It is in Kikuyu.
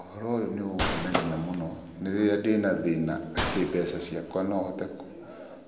Ũhoro ũyũ nĩ ũngenagia mũno nĩ rĩrĩa ndĩ na thĩna atĩ mbeca ciakwa no hote